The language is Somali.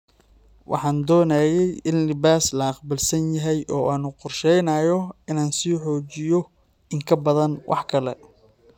"Waxaan doonayey in libaas la aqbal yahay oo aan u qorsheynayo inaan sii xoojiso in ka badan wax kale."